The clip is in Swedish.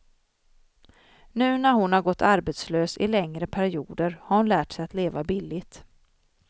Nu när hon gått arbetslös i längre perioder har hon lärt sig att leva billigt.